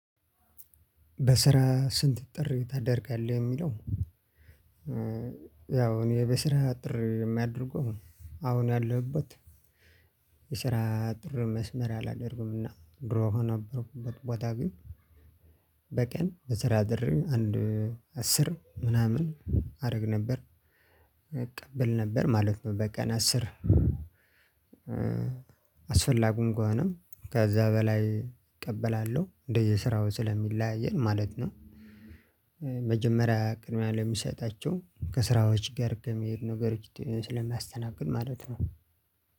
በስራ ስንት ጥሪ ታደርጋለህ የሚለው? ያው እኔ በስራ ጥሪ የማደርገው አሁን ያለሁበት የስራ አጥር መስመር አላደርግምና ድሮ ሆኖ ነበርኩበት ቦታ ግን። በቀን በስራ ጥሪ አንድ አስር ምናምን አደረግ ነበር እቀበል ነበር ማለት ነው። በቀን አስር አስፈላጊም ከሆነ ከዛ በላይ እቀበላለሁ እንደየስራው ስለሚለያይ ማለት ነው። መጀመሪያ ቅድሚያ ለሚሰጣቸው ከስራዎች ጋር ከመሄድ ነገሮች ስለማስተናግድ ማለት ነው።